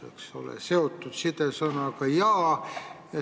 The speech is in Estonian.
Seotud on need sõnad sidesõnaga "ja".